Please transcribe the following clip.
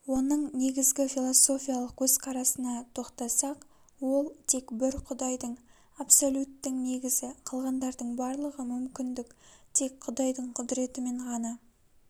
оның негізгі философиялық көзқарасына тоқтасақ ол тек бір құдайдың абсолюттің негізі калғандардың барлығы мүмкіндік тек құдайдың құдіретімен ғана